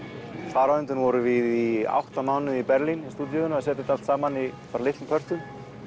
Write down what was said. þar á undan vorum við í átta mánuði í Berlín í stúdíói að setja þetta allt saman í litlum pörtum